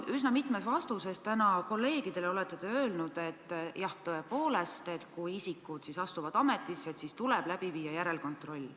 Üsna mitmes vastuses olete te täna kolleegidele öelnud, et jah, tõepoolest, kui isikud astuvad ametisse, siis tuleb läbi viia järelkontroll.